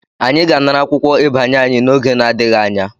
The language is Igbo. Anyị ga-anara akwụkwọ ịbanye anyị n'oge n'adịghị anya.